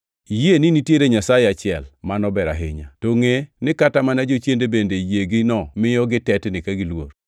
Iyie ni nitiere Nyasaye achiel. Mano ber ahinya! To ngʼe ni kata mana jochiende bende yiegino miyo gitetni ka giluor.